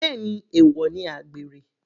Bẹ́ẹ̀ni, èwọ̀ ni àgbèrè.